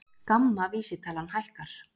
GAMMA vísitalan hækkar